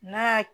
N'a ya